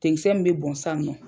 Ten kisɛ min bɛ bɔn sisan nɔ.